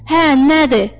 Hə, nədir?